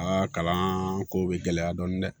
Aa kalan ko bɛ gɛlɛya dɔɔni dɛ